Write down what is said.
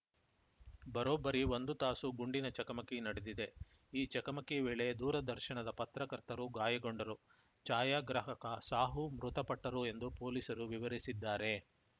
ಬರೋಬ್ಬರಿ ಒಂದು ತಾಸು ಗುಂಡಿನ ಚಕಮಕಿ ನಡೆದಿದೆ ಈ ಚಕಮಕಿ ವೇಳೆ ದೂರದರ್ಶನದ ಪತ್ರಕರ್ತರು ಗಾಯಗೊಂಡರು ಛಾಯಾಗ್ರಾಹಕ ಸಾಹು ಮೃತಪಟ್ಟರು ಎಂದು ಪೊಲೀಸರು ವಿವರಿಸಿದ್ದಾರೆ